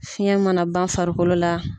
Fiɲɛ mana ban farikolo la.